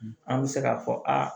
An bɛ se k'a fɔ aa